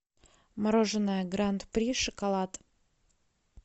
мороженое гранд при шоколад